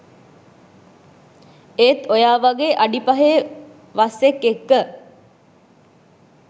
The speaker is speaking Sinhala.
ඒත් ඔයා වගේ අඩි පහේ වස්සෙක් එක්ක